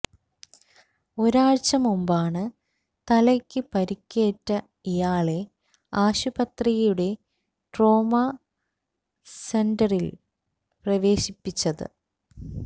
ഒരാഴ്ച മുമ്പാണ് തലയ്ക്ക് പരിക്കേറ്റ ഇയാളെ ആശുപത്രിയുടെ ട്രോമ സെന്ററില് പ്രവേശിപ്പിച്ചത്